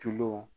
Tulo